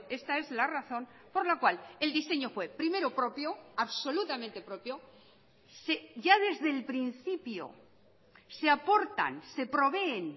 esta es la razón por la cual el diseño fue primero propio absolutamente propio ya desde el principio se aportan se proveen